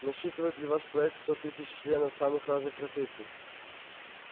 насчитывает ли ваш проект сто тысяч членов самых разных профессий